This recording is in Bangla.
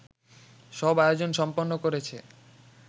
সব আয়োজন সম্পন্ন করেছে